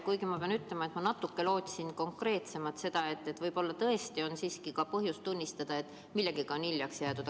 Kuigi ma pean ütlema, et ma lootsin natuke konkreetsemat vastust, seda, et võib-olla tõesti on põhjust tunnistada, et millegagi on hiljaks jäädud.